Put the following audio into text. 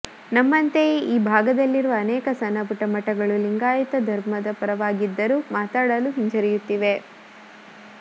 ನಮ್ಮಂತೆಯೇ ಈ ಭಾಗದಲ್ಲಿರುವ ಅನೇಕ ಸಣ್ಣಪುಟ್ಟ ಮಠಗಳು ಲಿಂಗಾಯತ ಧರ್ಮದ ಪರವಾಗಿದ್ದರೂ ಮಾತನಾಡಲು ಹಿಂಜರಿಯುತ್ತಿವೆ